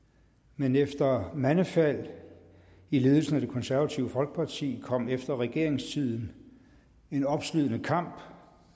men efter mandefald i ledelsen af det konservative folkeparti kom efter regeringstiden en opslidende kamp